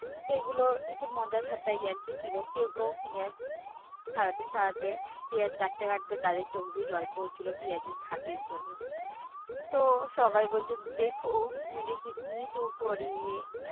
তো এগুলো একটু মজা ঠাট্টা ইয়ার্কি ছিল। কেউ কেউ পিঁয়াজ ছাড়াতে ছাড়াতে, পিঁয়াজ কাটতে কাটতে তাদের চোখ দিয়ে জল পড়ছিলো পিঁয়াজের ঝাঁজের জন্য। তো সবাই বলছে